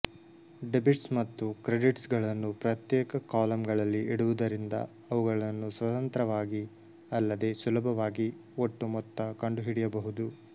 debits ಮತ್ತು credits ಗಳನ್ನು ಪ್ರತ್ಯೇಕ ಕಾಲಮ್ ಗಳಲ್ಲಿ ಇಡುವುದರಿಂದ ಅವುಗಳನ್ನು ಸ್ವತಂತ್ರವಾಗಿ ಅಲ್ಲದೇ ಸುಲಭವಾಗಿ ಒಟ್ಟು ಮೊತ್ತ ಕಂಡುಹಿಡಿಯಬಹುದು